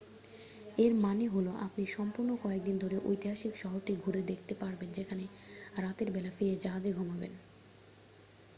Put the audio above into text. এর মানে হলো আপনি সম্পূর্ণ কয়েক দিন ধরে ঐতিহাসিক শহরটি ঘুরে দেখতে পারবেন যেখানে রাতের বেলা ফিরে জাহাজে ঘুমাবেন